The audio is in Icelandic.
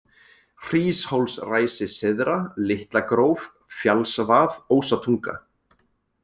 Hríshólsræsi syðra, Litlagróf, Fjallsvað, Ósatunga